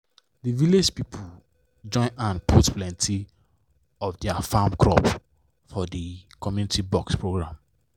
the village people join hand put plenty of their farm crops for the community box program.